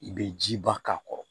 I bɛ jiba k'a kɔrɔ